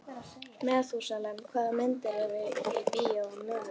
Methúsalem, hvaða myndir eru í bíó á miðvikudaginn?